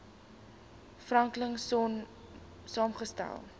franklin sonn saamgestel